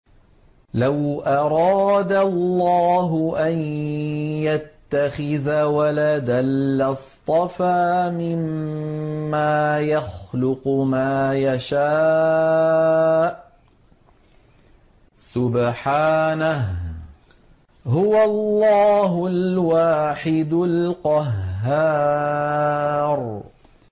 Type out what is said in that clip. لَّوْ أَرَادَ اللَّهُ أَن يَتَّخِذَ وَلَدًا لَّاصْطَفَىٰ مِمَّا يَخْلُقُ مَا يَشَاءُ ۚ سُبْحَانَهُ ۖ هُوَ اللَّهُ الْوَاحِدُ الْقَهَّارُ